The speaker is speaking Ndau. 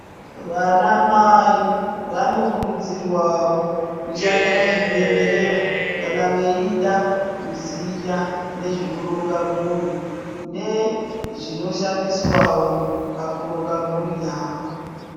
Vana mai vanokurudzirwawo Kushanyira zvibhedhlera kana veida kuziya nezve kuronga mhuri nezvinoshandiswa pakuronga mhuri yawo.